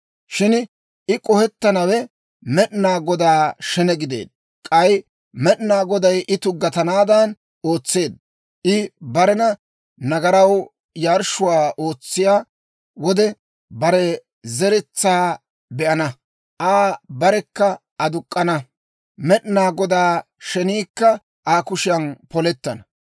Shin I k'ohettanawe Med'inaa Godaa shene gideedda; k'ay Med'inaa Goday I tuggatanaadan ootseedda. I barena nagaraw yarshshuwaa ootsiyaa wode, bare zeretsaa be'ana. Aa barekka aduk'k'ana; Med'inaa Godaa sheniikka Aa kushiyan polettana.